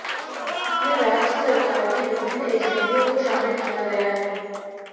इसमें राज्य सरकार की विभिन्न एजेंसियों को शामिल किया गया है